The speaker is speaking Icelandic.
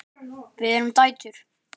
Við erum dætur!